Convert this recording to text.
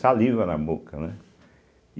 Saliva na boca, né?